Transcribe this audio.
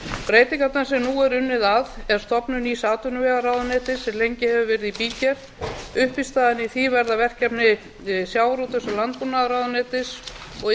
breytingarnar sem nú er unnið að er stefnt nýs atvinnuvegaráðuneytis sem lengi hefur verið í bígerð uppistaðan í því verða verkefni sjávarútvegs og landbúnaðarráðuneytis og